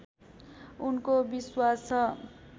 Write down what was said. उनको विश्वास छ